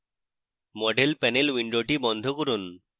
model panel window বন্ধ করুন